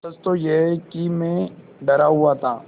सच तो यह है कि मैं डरा हुआ था